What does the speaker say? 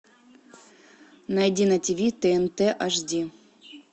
найди на тв тнт аш ди